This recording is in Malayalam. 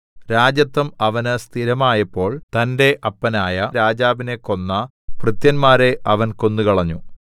രാജത്വം അവന് സ്ഥിരമായപ്പോൾ തന്റെ അപ്പനായ രാജാവിനെ കൊന്ന ഭൃത്യന്മാരെ അവൻ കൊന്നുകളഞ്ഞു